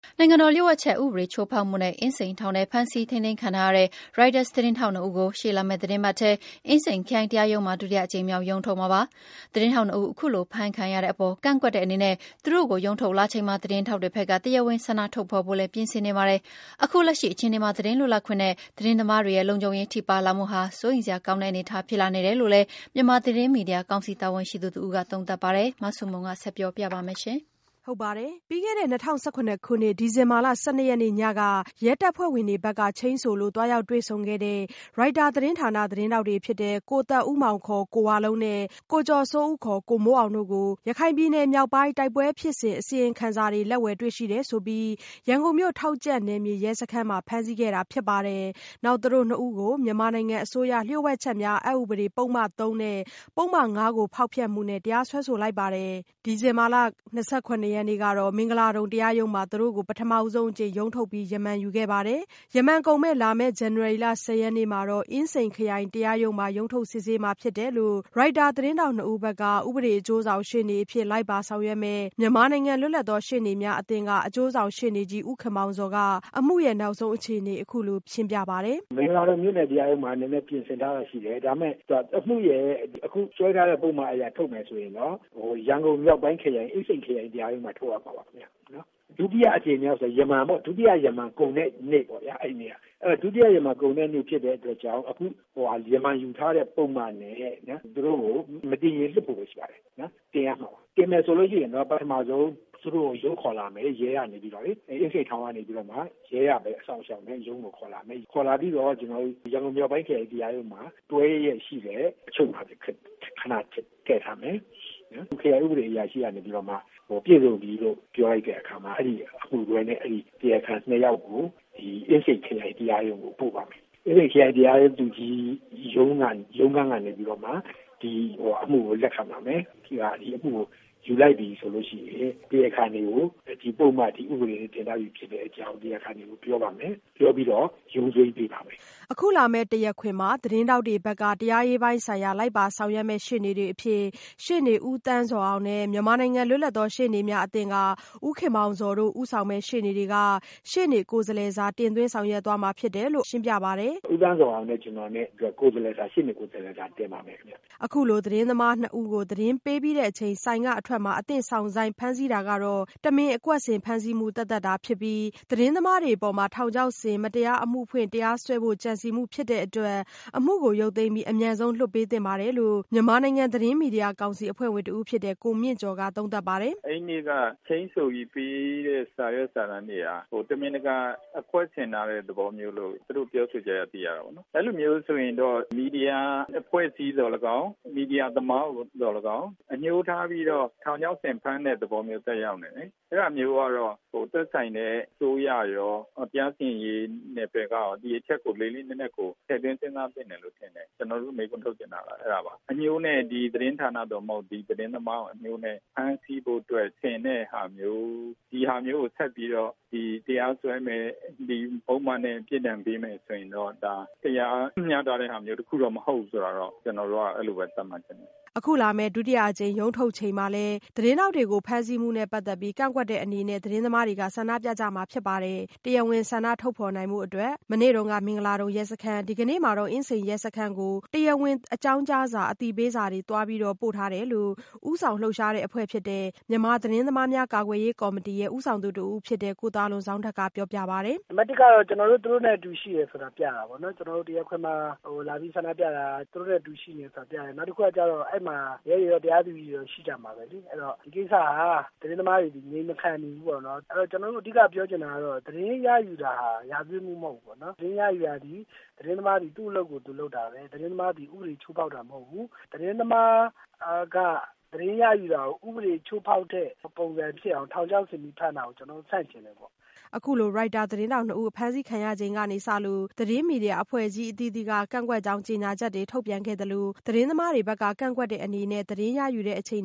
နိုင်ငံတော်လျှို့ဝှက်ချက်အက်ဥပဒေချိုးဖောက်မှုနဲ့ အင်းစိန်ထောင်ထဲ ဖမ်းဆီးထိန်းသိမ်းခံထားရတဲ့ ရိုက်တာသတင်းထောက်နှစ်ဦးကို ရှေ့လာမယ့်သီတင်းပတ်ထဲ အင်းစိန်ခရိုင်တရားရုံးမှာ ဒုတိယအကြိမ်မြောက် ရုံးထုတ်မှာဖြစ်ပါတယ်။ သတင်းထောက်နှစ်ဦး အခုလို ဖမ်းခံရတဲ့အပေါ် ကန့်ကွက်တဲ့အနေနဲ့ သူတို့ကိုရုံးထုတ်လာချိန် သတင်းထောက်တွေဘက်က တရားဝင် ဆန္ဒထုတ်ဖော်ဖို့လည်း ပြင်ဆင်နေကြပါတယ်။ အခုလက်ရှိအခြေအနေမှာ သတင်းလွတ်လပ်ခွင့်နဲ့သတင်းသမားတွေရဲ့ လုံခြုံရေးထိပါးလာမှုဟာ စိုးရိမ်စရာကောင်းတဲ့အနေအထားဖြစ်လာနေတယ်လို့လည်း မြန်မာသတင်းမီဒီယာကောင်စီတာဝန်ရှိသူတဦးက သုံးသပ်ပါတယ်။ မဆုမွန် ဆက်ပြောပြပါမယ်။ ပြီးခဲ့တဲ့ ၂၀၁၇ခုနှစ် ဒီဇင်ဘာလ ၁၂ရက်နေ့ ညက ရဲတပ်ဖွဲ့ဝင်တွေဘက်က ချိန်းဆိုလို့ သွားရောက်တွေ့ဆုံခဲ့တဲ့Reuters သတင်းဌာန သတင်းထောက်တွေဖြစ်တဲ့ ကိုသက်ဦးမောင် ကိုဝလုံး နဲ့ ကိုကျော်စိုးဦး ကိုမိုးအောင်တို့ကို ရခိုင်ပြည်နယ် မြောက်ပိုင်း တိုက်ပွဲဖြစ်စဉ် အစီရင်ခံစာတွေ လက်ဝယ်တွေ့ရှိတယ်ဆိုပြီး ရန်ကုန်မြို့၊ ထောက်ကြန့်နယ်မြေရဲစခန်းမှာ ဖမ်းဆီးခဲ့တာဖြစ်ပါတယ်။ နောက် သူတို့နှစ်ဦးကို မြန်မာနိုင်ငံအစိုးရ လျှို့ဝှက်ချက်များအက်ဥပဒေ ပုဒ်မ ၃ နဲ့ ပုဒ်မ ၅ ဖောက်ဖျက်မှုနဲ့ တရားစွဲဆိုလိုက်ပါတယ်။ ဒီဇင်ဘာ၂၇ရက်နေ့က မင်္ဂလာဒုံတရားရုံးမှာ သူတို့ကို ပထမဆုံးအကြိမ် ရုံးထုတ်ခဲ့ပြီး ရမန်ယူခဲ့ပါတယ်။ ရမန်ကုန်မယ့် လာမယ့် ဇန်နဝါရီလ ၁၀ရက်နေ့မှာတော့ အင်းစိန်ခရိုင်တရားရုံးမှာ ရုံးထုတ်စစ်ဆေးမှာဖြစ်တယ်လို့ ရိုက်တာ သတင်းထောက်နှစ်ဦးဘက်က ဥပဒေအကျိုးဆောင်ရှေ့နေအဖြစ် လိုက်ပါဆောင်ရွက်မယ့် မြန်မာနိုင်ငံ လွတ်လပ်သောရှေ့နေများအသင်းက အကျိုးဆောင်ရှေ့နေကြီး ဦးခင်မောင်ဇော်က အမှုနောက်ဆုံးအခြေအနေကို အခုလို ရှင်းပြပါတယ်။ "မင်္ဂလာဒုံမြို့နယ်တရားရုံးမှာ နည်းနည်းပြင်ဆင်ထားတာရှိတယ်။ ဒါပေမယ့် အမှုရဲ့ အခုဆွဲထားတဲ့ ပုဒ်မအရထုတ်မယ်ဆိုရင် ရန်ကုန်မြောက်ပိုင်းခရိုင် အင်းစိန်တရားရုံးမှာ ထုတ်ရမှာပါခင်ဗျ။ ဒုတိယအကြိမ်မြောက်ဆိုရင်တော့ ရမန်ပေါ့နော်၊ ဒုတိယ ရမန်ကုန်တဲ့နေ့ပေ့ါ အဲဒီနေ့က။ ဒုတိယရမန်ကုန်တဲ့နေ့ဖြစ်တဲ့အတွက်ကြောင့် အခုရမန်ယူထားတဲ့ပုဒ်မနဲ့ သူတို့ကို မတင်ရင် လွှတ်ဖို့ပဲရှိပါတယ် တင်ရမှာပါ။ တင်မယ်ဆိုရင်တော့ ပထမဆုံး ရုံးခေါ်လာမယ်။ ရဲကနေပြီးတော့ အင်းစိန်ထောင်ကနေပြီးတော့လေ အဲဒီက ရဲကပဲ စောင့်ရှောက်မယ်၊ ရဲကပဲ ရုံးကိုခေါ်လာမယ်။ ခေါ်လာပြီးတော့ ကျနော်တို့ ရန်ကုန်မြောက်ပိုင်းခရိုင်တရားရုံးမှာ တွဲလျက်ရှိတဲ့ အချုပ်မှာပဲ ခဏထည့်ထားမယ် ခရိုင်ဥပဒေအရာရှိကနေပြီးတော့မှ ပြည့်စုံပြီလို့ ပြောလိုက်တဲ့အခါမှာ အဲဒီအမှုတွဲနဲ့ အဲဒီ တရားခံ ၂ ယောက်ကို ဒီ အင်းစိန်ခရိုင်တရားရုံးကို ပို့ပါမယ်။ အင်းစိန်ခရိုင်တရားရုံးကနေပြီးတော့မှ ဒီအမှုကို လက်ခံပါမယ်။ ဒီအမှုကို ယူလိုက်ပြီဆိုရင် တရားခံတွေကို ဒီပုဒ်မ ဒီဥပဒေတွေနဲ့ တင်ထားပြီဖြစ်တဲ့အကြောင်း တရားခံတွေကို ပြောပါမယ်။ ပြောပြီးတော့ အမိန့်ပေးပါမယ်။" အခုလာမယ့် တရားခွင်မှာ သတင်းထောက်တွေဘက်က တရားရေးပိုင်းဆိုင်ရာ လိုက်ပါဆောင်ရွက်မယ့်ရှေ့နေတွေအဖြစ် ရှေ့နေဦးသန်းဇော်အောင်နဲ့ မြန်မာနိုင်ငံ လွတ်လပ်သောရှေ့နေများအသင်းက ဦးခင်မောင်ဇော်တို့ဦးဆောင်မယ့် ရှေ့နေတွေက ရှေ့နေကိုယ်စားလှယ်စာ တင်သွင်းဆောင်ရွက်သွားမှာဖြစ်တယ်လို့ ရှင်းပြပါတယ်။ "ဦးသန်းဇော်အောင်နဲ့ ကျနော်နဲ့ ရှေ့နေကိုယ်စားလှယ်စာ တင်ပါမယ်ခင်ဗျ။" အခုလိုသတင်းသမားနှစ်ဦးကို သတင်းပေးပြီးတဲ့အချိန် ဆိုင်ကအထွက်မှာ အသင့်စောင့်ဆိုင်းဖမ်းဆီးခဲ့တာဟာ တမင်အကွက်ဆင် ဖမ်းဆီးမှုသက်သက်သာဖြစ်တဲ့အတွက် သတင်းသမားတွေအပေါ် ထောင်ချောက်ဆင်ပြီး မတရားအမှုဖွင့် တရားစွဲဖို့ကြံစည်မှုဖြစ်တဲ့အတွက် အမှုကိုရုပ်သိမ်းပြီး အမြန်ဆုံးလွှတ်ပေးသင့်တယ်လို့ မြန်မာနိုင်ငံသတင်းမီဒီယာကောင်စီအဖွဲ့ဝင်တဦးဖြစ်တဲ့ ကိုမြင့်ကျော်က သုံးသပ်ပါတယ်။ "အဲဒီနေ့က ချိန်းဆိုပြီးပေးတဲ့ စာရွက်စာတန်းတွေက တမင်တကာအကွက်ဆင်ထားတဲ့ သဘောမျိုးလို့ သူတို့ ပြောဆိုချက်အရ သိရတာပေါ့နော်။ အဲလိုမျိုးဆိုရင်တော့ မီဒီယာအဖွဲ့အစည်းသော်လည်းကောင်း၊ မီဒီယာသမားသော်လည်းကောင်း အငြိုးထားပြီးတော့ ထောင်ချောက်ဆင်ဖမ်းတဲ့ သဘောမျိုးသက်ရောက်နေတယ်။ အဲဒါမျိုးကတော့ သက်ဆိုင်တဲ့ အစိုးရရော၊ တရားစီရင်ရေးနယ်ပယ်ကရော ဒီအချက်ကို လေးလေးနက်နက်ကို ထည့်သွင်းစဉ်းစားသင့်တယ်လို့ ထင်တယ်။ ကျနော်တို့မေးခွန်းထုတ်ချင်တာက အဲဒါပါ။ အငြိုးနဲ့ဒီ သတင်းဌာနကိုသော်လည်းကောင်း၊ ဒီသတင်းသမားကိုလည်းကောင်း အငြိုးနဲ့ ဖမ်းဆီးဖို့အတွက် ဆင်တဲ့ဟာမျိုး ဒီဟာမျိုးကို ဆက်ပြီးတော့ တရားဆွဲမယ် ဒီပုဒ်မနဲ့ ပြစ်ဒဏ်ပေးမယ်ဆိုရင်တော့ ဒါ တရားမျှတတဲ့ဟာ တခုတော့မဟုတ်ဘူးဆိုတာ ကျနော်တို့က အဲလိုပဲ သတ်မှတ်ချင်တယ်။" အခုလာမယ့် ဒုတိယအကြိမ်ရုံးထုတ်ချိန်မှာလည်း သတင်းထောက်တွေကို ဖမ်းဆီးမှုနဲ့ပတ်သက်ပြီး ကန့်ကွက်တဲ့အနေနဲ့ သတင်းသမားတွေ ဆန္ဒပြကြမှာဖြစ်ပါတယ်။ တရားဝင်ဆန္ဒထုတ်ဖော်နိုင်ဖို့ မနေ့ကမင်္ဂလာဒုံရဲစခန်းနဲ့ ဒီကနေ့မှာတော့ အင်းစိန်ရဲစခန်းကို သွားပြီး တရားဝင်အကြောင်းကြား အသိပေးထားတယ်လို့ ဦးဆောင်လှုပ်ရှားတဲ့အဖွဲ့ဖြစ်တဲ့ မြန်မာသတင်းသမားများ ကာကွယ်ရေးကော်မတီဦးဆောင်သူတဦးဖြစ်တဲ့ ကိုသာလွန်ဇောင်းထက်က အခုလိုပြောပြပါတယ်။ "နံပတ်၁ ကတော့ ကျနော်တို့ သူတို့နဲ့ အတူတူရှိတယ်ဆိုတာပြတာပေါ့နော်၊ ကျနော်တို့ တရားခွင်မှာ လာပြီးဆန္ဒပြတာ သူတို့နဲ့ အတူတူရှိတယ်ဆိုတာပြတယ်။ နောက်တခုကတော့ အဲဒီမှာ ရဲတွေရော တရားသူကြီးတွေရော ရှိကြမှာပဲလေ။ အဲဒီတော့ ဒီကိစ္စမှာ သတင်းသမားတွေက အငြိမ်မခံနေဘူးပေါ့နော်။ ကျနော်တို့ အဓိကပြောချင်တာကတော့ သတင်းရယူတာက ရာဇဝတ်မှုမဟုတ်ဘူးပေါ့နော်။ သတင်းရယူတာသည် သတင်းသမားသည် သူ့အလုပ်ကို သူလုပ်တာပဲ သတင်းသမားသည် ဥပဒေချိုးဖောက်တာမဟုတ်ဘူး။ သတင်းသမားက သတင်းရယူတာကို ဥပဒေချိုးဖောက်တဲ့ ပုံစံဖြစ်အောင် ထောင်ချောက်ဆင်ပြီးဖမ်းတာ ကျနော်တို့ ဆန့်ကျင်တယ်ပေါ့။" အခုလိုရိုက်တာသတင်းထောက်နှစ်ဦး ဖမ်းဆီးခံရချိန်ကစလို့ သတင်းမီဒီယာအဖွဲ့အစည်းအသီးသီးက ကန့်ကွက်ကြောင်း ကြေညာချက်တွေ ထုတ်ပြန်ခဲ့သလို သတင်းသမားတွေက ကန့်ကွက်တဲ့အနေနဲ့ သတင်းရယူချိန်